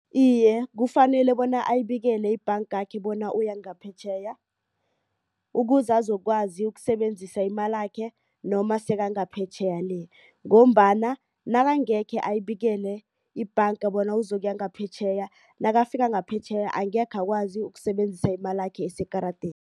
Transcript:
Iye, kufanele bona ayibikele ibhangakhe bona uya ngaphetjheya. Ukuze azokwazi ukusebenzisa imalakhe noma sekangaphetjheya le. Ngombana nakangekhe ayibikele ibhanga bona uzokuya ngaphetjheya. Nakafika ngaphetjheya angekhe akwazi ukuyisebenzisa imalakhe esekaradeni.